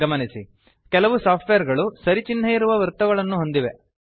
ಗಮನಿಸಿ ಕೆಲವು ಸಾಫ್ಟ್ವೇರ್ ಗಳು ಸರಿ ಚಿಹ್ನೆಯಿರುವ ವೃತ್ತಗಳನ್ನು ಹೊಂದಿವೆ